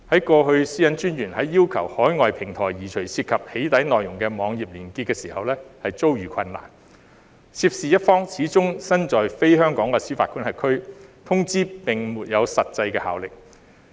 過去私隱專員在要求海外平台移除涉及"起底"內容的網頁連結時遭遇困難，涉事一方始終身在非香港的司法管轄區，通知並沒有實際效力。